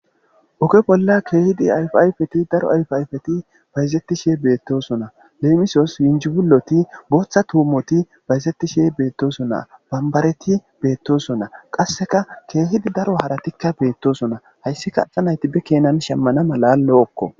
Oge bolla keehidi yfayfeti daro ayfayfeti bayzetti shee beettosonna leemisos yinjibuloti booththa tuumoti bayzetti shee beettosonnaa bambareti beettosonnaa qasseka keehidi daro haratikka beettosonna hayssika aha nayti be kenan shemmana mala lo7okko.